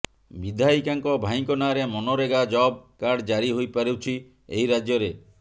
ବିଧାୟିକାଙ୍କ ଭାଇଙ୍କ ନାଁରେ ମନରେଗା ଜବ କାର୍ଡ ଜାରି ହୋଇପାରୁଛି ଏହି ରାଜ୍ୟରେ